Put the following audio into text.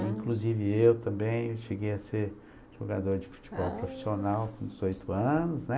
Inclusive eu também cheguei a ser jogador de futebol profissional com dezoito anos, né?